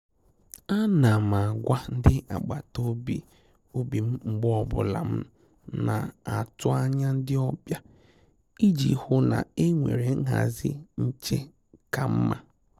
À nà m ágwà ndị́ agbata obi obi m mgbe ọ bụla m na-atụ́ ányá ndị́ ọ́bị̀à iji hụ́ na e nwere nhazị nchè kà mma.